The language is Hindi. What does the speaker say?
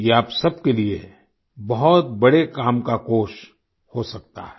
ये आप सबके लिए बहुत बड़े काम का कोष हो सकता है